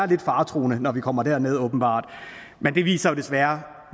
lidt faretruende når vi kommer derned åbenbart men det viser jo desværre